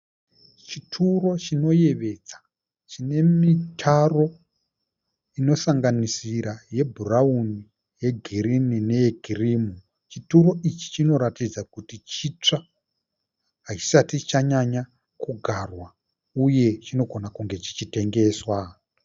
Chituro chinoyevedza chinemitaro inosanganisira ye bhurauni, yegirinhi neye kirimu. Chituro ichi chinoratidza kuti chitsva, hachisati chanyanya kugarwa uye chinogona kunge chichitengeswa